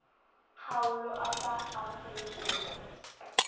kgaolo a sa amogele kopo